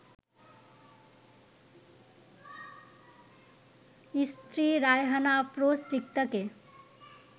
স্ত্রী রায়হানা আফরোজ রিক্তাকে